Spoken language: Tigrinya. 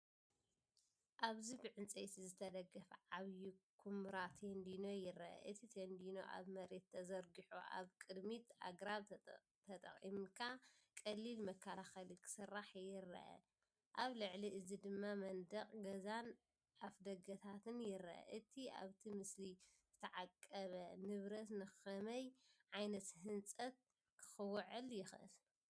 ኣብዚ ብዕንጨይቲ ዝተደገፈ ዓቢ ኵምራ ቴንድኖ ይርአ። እቲ ቴንዲኖ ኣብ መሬት ተዘርጊሑ ኣብ ቅድሚት ኣግራብ ተጠቒምካ ቀሊል መከላኸሊ ክስራሕ ይረአ። ኣብ ልዕሊ እዚ ድማ መንደቕ ገዛን ኣፍደገታትን ይርአ። እቲ ኣብቲ ምስሊ ዝተዓቀበ ንብረት ንኸመይ ዓይነት ህንጸት ክውዕል ይኽእል?